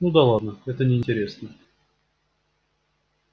ну да ладно это неинтересно